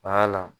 la